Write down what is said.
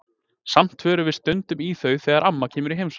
Samt förum við stundum í þau þegar amma kemur í heimsókn.